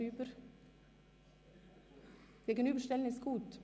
Es wird gesagt, eine Gegenüberstellung sei gut.